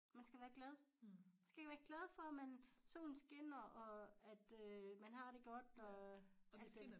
Man skal være glad man skal være glad for man solen skinner og at øh man har det godt og alt skal nok